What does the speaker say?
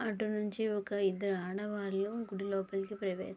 అటు నుంచి ఒక ఇద్దరు ఆడవాళ్లు గుడిలోనికి ప్రవే --